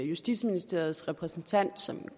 justitsministeriets repræsentant som